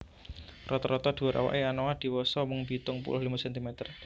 Rata rata dhuwur awake anoa diwasa mung pitung puluh limo centimeter